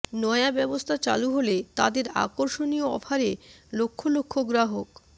নয়া ব্যবস্থা চালু হলে তাদের আকর্ষণীয় অফারে লক্ষ লক্ষ গ্রাহক